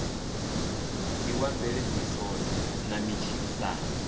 ndi wa mveledziso na matshilisano